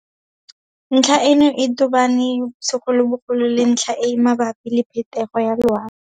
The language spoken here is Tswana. Ntlha eno e tobane segolobogolo le ntlha e e mabapi le phetogo ya loapi.